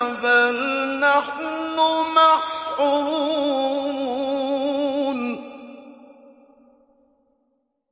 بَلْ نَحْنُ مَحْرُومُونَ